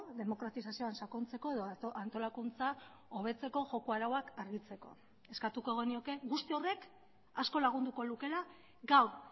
demokratizazioan sakontzeko edo antolakuntza hobetzeko joko arauak argitzeko eskatuko genioke guzti horrek asko lagunduko lukeela gaur